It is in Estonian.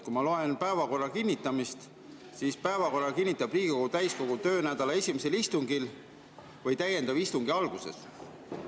Kui ma loen päevakorra kinnitamise kohta, siis näen, et päevakorra kinnitab Riigikogu täiskogu töönädala esimesel istungil või täiendava istungi alguses.